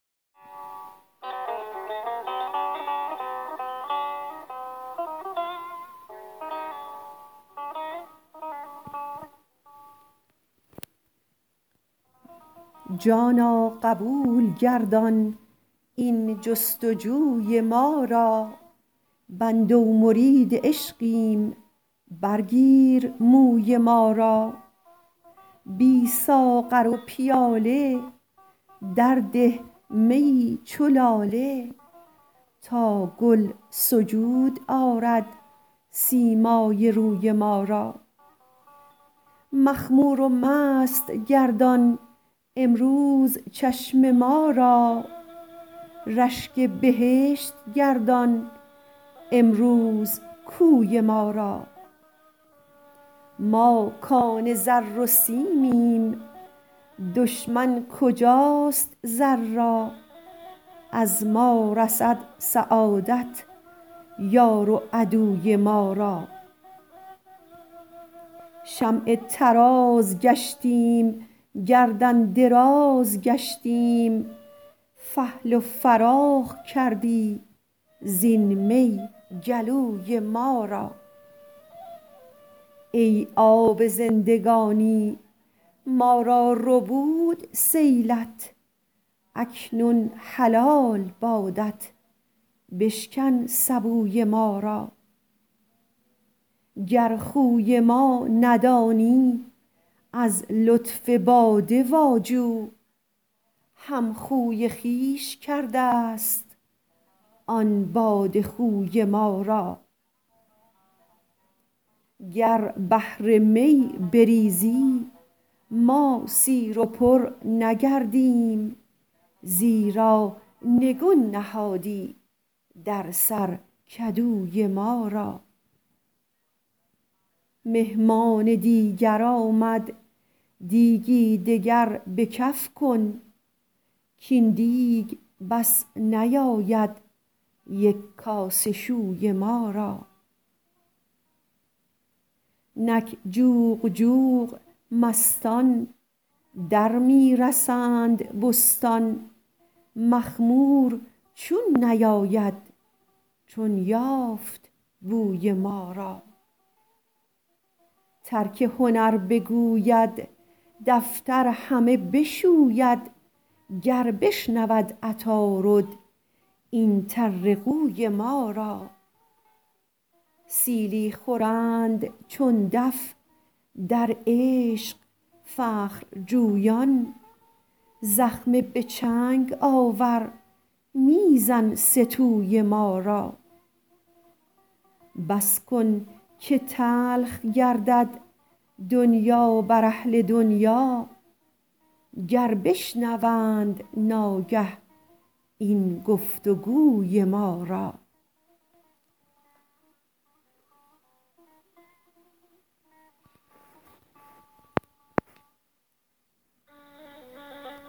جانا قبول گردان این جست و جوی ما را بنده و مرید عشقیم برگیر موی ما را بی ساغر و پیاله درده میی چو لاله تا گل سجود آرد سیمای روی ما را مخمور و مست گردان امروز چشم ما را رشک بهشت گردان امروز کوی ما را ما کان زر و سیمیم دشمن کجاست زر را از ما رسد سعادت یار و عدوی ما را شمع طراز گشتیم گردن دراز گشتیم فحل و فراخ کردی زین می گلوی ما را ای آب زندگانی ما را ربود سیلت اکنون حلال بادت بشکن سبوی ما را گر خوی ما ندانی از لطف باده واجو همخوی خویش کرده ست آن باده خوی ما را گر بحر می بریزی ما سیر و پر نگردیم زیرا نگون نهادی در سر کدوی ما را مهمان دیگر آمد دیگی دگر به کف کن کاین دیگ بس نیاید یک کاسه شوی ما را نک جوق جوق مستان در می رسند بستان مخمور چون نیاید چون یافت بوی ما را ترک هنر بگوید دفتر همه بشوید گر بشنود عطارد این طرقوی ما را سیلی خورند چون دف در عشق فخرجویان زخمه به چنگ آور می زن سه توی ما را بس کن که تلخ گردد دنیا بر اهل دنیا گر بشنوند ناگه این گفت و گوی ما را